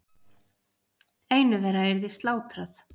Einu þeirra yrði slátrað.